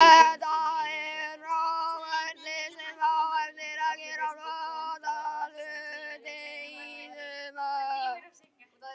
Þetta er frábært lið sem á eftir að gera flott hluti í sumar.